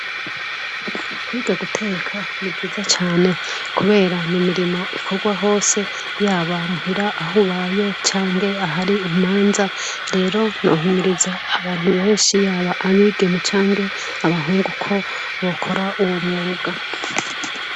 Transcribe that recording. kwiga guteka nibwiza cyane kubera nimirimo ikorwa hose yaba muhira ahubaye cyange ahari imanza rero nohimiriza abantu benshi yaba abigeme cyange abahungu ko bokora uwo mubwa